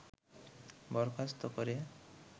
বরখাস্ত করে